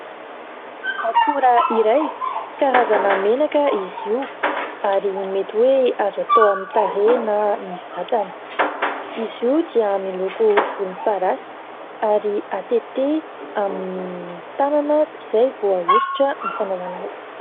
Akora iray karazana menaka izy io ary mety hoe azo atao amin'ny tarehy na ny vatana. Izy io dia miloko volomparasy ary atete amin'ny tanana izay vao ahosotra ny fanaovana azy.